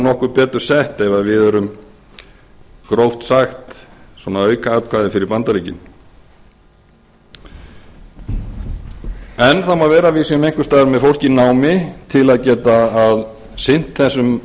nokkuð betur sett ef við erum gróft sagt svona aukaatkvæði fyrir bandaríkin en það má vera að við séum einhvers staðar með fólk í námi til að geta sinnt þessum